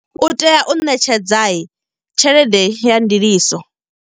U tea u ṋetshedza tshelede ya ndiliso.